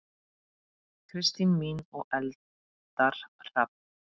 Kristín mín og Eldar Hrafn.